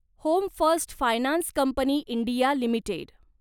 home First Finance Company India limited